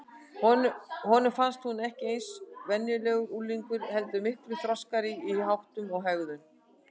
Honum fannst hún ekki eins og venjulegur unglingur heldur miklu þroskaðri í háttum og hegðun.